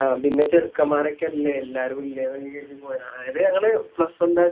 ആകെ ഇള്ള ചേർക്കൻമ്മാരോക്കെയല്ലേ എല്ലാരും ഇല്ലെന്നൊക്കെ കേരുതി പോയതാ അയില് ഞങ്ങള് Plusone ലെ